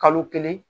Kalo kelen